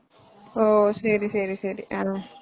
ஓ சரி, சரி, சரி.